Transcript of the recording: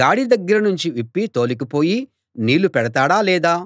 గాడి దగ్గరనుంచి విప్పి తోలుకుపోయి నీళ్ళు పెడతాడా లేదా